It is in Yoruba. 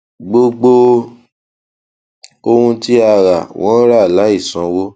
gbogbo ohun tí a ra wọn rà láìsanwó